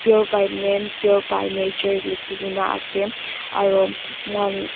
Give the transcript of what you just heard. pure by name pure by nature likhikaena ase aro moikan.